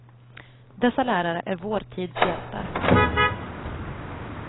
Dessa lärare är vår tids hjältar.